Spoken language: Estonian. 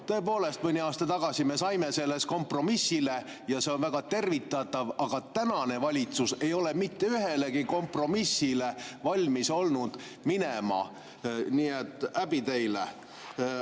Tõepoolest, mõni aasta tagasi me saime selles kompromissile ja see on väga tervitatav, aga tänane valitsus ei ole olnud valmis minema mitte ühelegi kompromissile, nii et häbi teile.